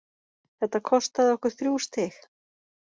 Þetta kostaði okkur þrjú stig.